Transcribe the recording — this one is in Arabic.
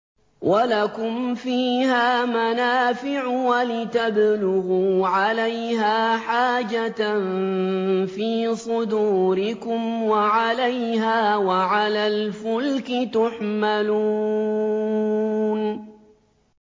وَلَكُمْ فِيهَا مَنَافِعُ وَلِتَبْلُغُوا عَلَيْهَا حَاجَةً فِي صُدُورِكُمْ وَعَلَيْهَا وَعَلَى الْفُلْكِ تُحْمَلُونَ